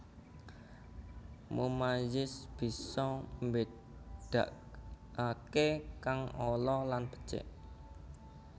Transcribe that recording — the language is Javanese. Mummayiz bisa mbédakaké kang ala lan becik